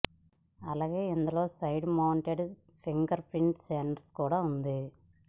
అలాగే ఇందులో side mounted fingerprint sensor కూడా ఉంది